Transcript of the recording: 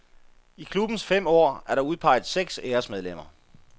I klubbens fem år er der udpeget seks æresmedlemmer.